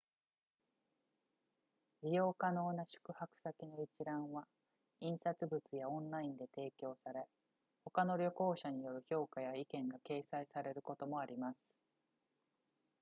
利用可能な宿泊先の一覧は印刷物やオンラインで提供され他の旅行者による評価や意見が掲載されることもあります